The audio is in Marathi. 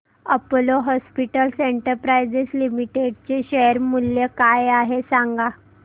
अपोलो हॉस्पिटल्स एंटरप्राइस लिमिटेड चे शेअर मूल्य काय आहे सांगा